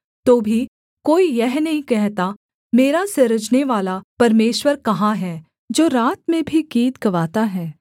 तो भी कोई यह नहीं कहता मेरा सृजनेवाला परमेश्वर कहाँ है जो रात में भी गीत गवाता है